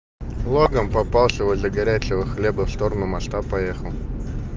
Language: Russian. логан попавшего для горячего хлеба в сторону масштаб поехал